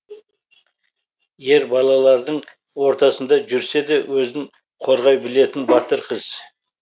ер балалардың ортасында жүрседе өзін қорғай білетін батыр қыз